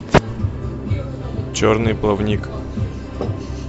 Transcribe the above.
черный плавник